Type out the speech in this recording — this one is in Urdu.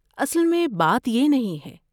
اصل میں بات یہ نہیں ہے۔